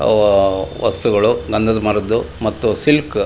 ಆಹ್ಹ್ ವಸ್ತುಗಳು ಗಂಧದ ಮರಗಳು ಮತ್ತು ಸಿಲ್ಕ್ -